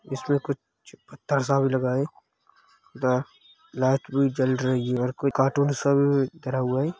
इसमें कुछ पत्थर सा भी लगा है। दो लाइट भी जल रही है और कुछ कार्टून सा भी धरा हुआ है।